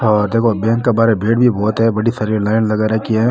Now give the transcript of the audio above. और देखो बैंक के बहार भीड़ भी बहोत है बड़ी सारी लाइन भी लगा रखी है।